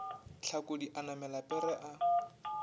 hlakodi a namela pere a